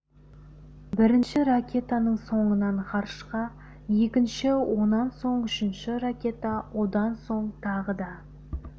бірінші ракетаның соңынан ғарышқа екінші онан соң үшінші ракета одан соң тағы да